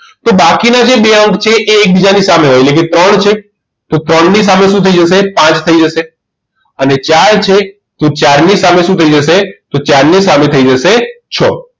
તો બાકીના જે બે અંક છે એ એકબીજાની સામે હોય એટલે કે ત્રણ છે તો ત્રણ ની સામે શું થઈ જશે પાંચ થઈ જશે અને ચાર છે તો ચાર ની સામે શું થઈ જશે તો ચાર ની સામે થઈ જશે છ